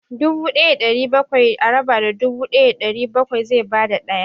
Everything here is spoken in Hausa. Dubu ɗaya da ɗari bakwai a raba da dubu ɗaya da ɗari bakwai zai ba da ɗaya.